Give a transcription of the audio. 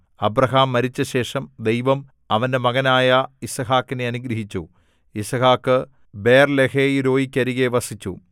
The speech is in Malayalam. അബ്രാഹാം മരിച്ചശേഷം ദൈവം അവന്റെ മകനായ യിസ്ഹാക്കിനെ അനുഗ്രഹിച്ചു യിസ്ഹാക്ക് ബേർലഹയിരോയീക്കരികെ വസിച്ചു